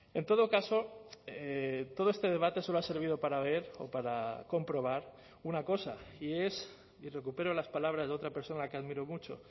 en todo caso todo este debate solo ha servido para ver o para comprobar una cosa y es y recupero las palabras de otra persona que admiro mucho